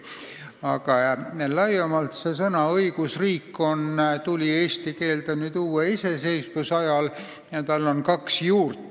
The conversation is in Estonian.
Aga laiemalt tuli sõna "õigusriik" eesti keelde uue iseseisvuse ajal ja tal on kaks juurt.